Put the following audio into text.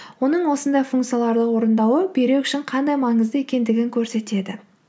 оның осындай функцияларды орындауы бүйрек үшін қандай маңызды екендігін көрсетеді